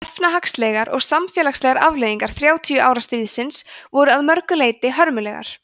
efnahagslegar og samfélagslegar afleiðingar þrjátíu ára stríðsins voru að mörgu leyti hörmulegar